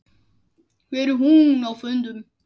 Hvar er hún á fundum?